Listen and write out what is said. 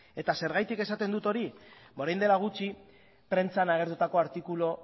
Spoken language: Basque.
eta zergatik esaten dut hori ba orain dela gutxi prentsan agertutako artikulu